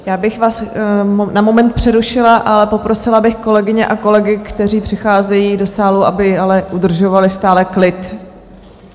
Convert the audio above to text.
Já bych vás na moment přerušila a poprosila bych kolegyně a kolegy, kteří přicházejí do sálu, aby ale udržovali stále klid.